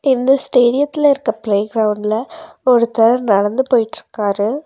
இந்த ஸ்டேடியத்தில இருக்க ப்ளே கிரவுண்ட்ல ஒருத்தர் நடந்து போயிட்ருக்காரு.